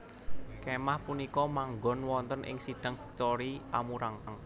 Kémah punika manggon wonten ing Sidang Victory Amurang